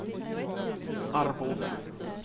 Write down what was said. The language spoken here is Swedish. Arboga